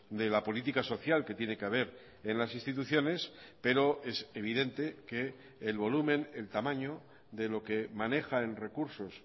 de la política social que tiene que haber en las instituciones pero es evidente que el volumen el tamaño de lo que maneja en recursos